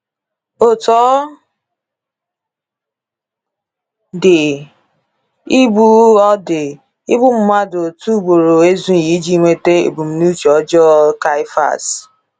Otú ọ dị, igbu ọ dị, igbu mmadụ otu ugboro ezughi iji nweta ebumnuche ọjọọ Caiaphas.